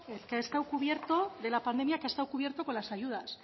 de la pandemia que ha estado cubierto con las ayudas